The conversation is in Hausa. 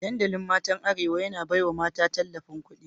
Dandalin matan arewa, yana baiwa mata tallafin kudi